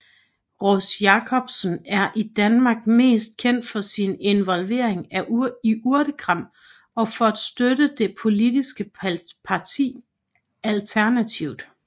Ross Jackson er i Danmark mest kendt for sin involvering i Urtekram og for at støtte det politiske parti Alternativet